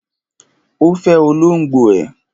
Ó fẹ olóngbò ẹ̀.